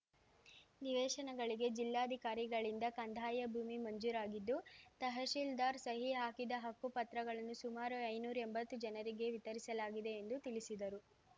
ನಿವೇಶನಗಳಿಗೆ ಜಿಲ್ಲಾಧಿಕಾರಿಗಳಿಂದ ಕಂದಾಯ ಭೂಮಿ ಮಂಜೂರಾಗಿದ್ದು ತಹಶಿಲ್ದಾರ್‌ ಸಹಿ ಹಾಕಿದ ಹಕ್ಕು ಪತ್ರಗಳನ್ನು ಸುಮಾರು ಐನೂರ್ ಎಂಬತ್ತು ಜನರಿಗೆ ವಿತರಿಸಲಾಗಿದೆ ಎಂದು ತಿಳಿಸಿದರು